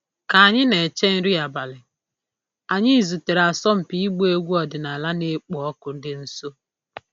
Ka anyị na-eche nri abalị, anyị zutere asọmpi ịgba egwu ọdịnala na-ekpo ọkụ dị nso.